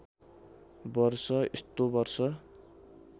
वर्ष यस्तो वर्ष